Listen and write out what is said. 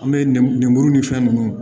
An bɛ nin lemuru ni fɛn ninnu